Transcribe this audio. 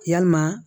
Yalima